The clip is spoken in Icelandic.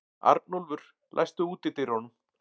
Arnúlfur, læstu útidyrunum.